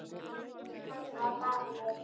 Kann að vara mig.